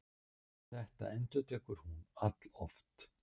Þetta endurtekur hún alloft.